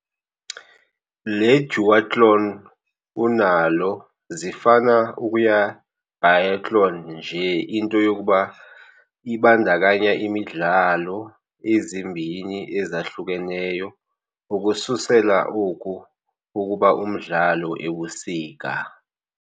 Le duathlon unalo zifana ukuya Biathlon nje into yokuba ibandakanya imidlalo ezimbini, ezahlukeneyo ukususela oku ukuba umdlalo ebusika.